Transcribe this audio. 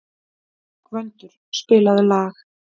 Gvöndur, spilaðu lag.